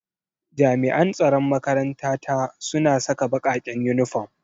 Jami'an tsaron makaranta ta suna saka bakaken uniform.